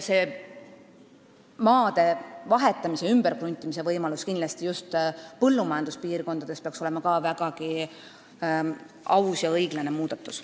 Maade vahetamise ja ümberkruntimise võimalus peaks kindlasti just põllumajanduspiirkondade jaoks olema vägagi aus ja õiglane muudatus.